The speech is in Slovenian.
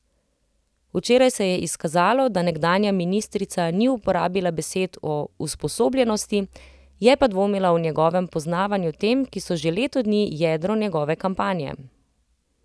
Včeraj se je izkazalo, da nekdanja ministrica ni uporabila besed o usposobljenosti, je pa dvomila o njegovem poznavanju tem, ki so že leto dni jedro njegove kampanje.